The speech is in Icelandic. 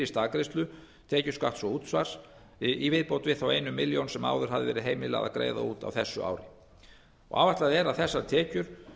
staðgreiðslu tekjuskatts og útsvars í viðbót við þá eina milljón sem áður var heimilað að greiða út á þessu ári áætlað er að þessar tekjur